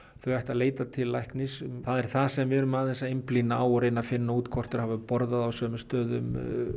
þeir ættu að leita til læknis það er það sem við erum að einblína og reyna að finna út hvort þau hafi borðað á sömu stöðum